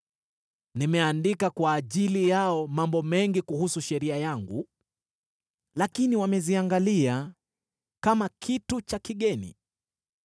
Nimeandika kwa ajili yao mambo mengi kuhusu sheria yangu, lakini wameziangalia kama kitu cha kigeni.